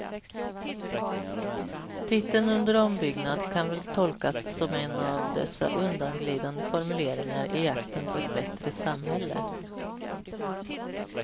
Titeln under ombyggnad kan väl tolkas som en av dessa undanglidande formuleringar i jakten på ett bättre samhälle.